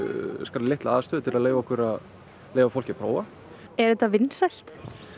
litla aðstöðu til að leyfa okkar að leyfa fólki að prófa er þetta vinsælt